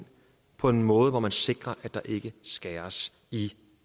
på en måde så man sikrer at der ikke skæres